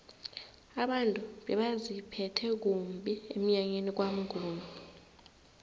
abantu bebaziphethe kumbi emnyanyeni kwamnguni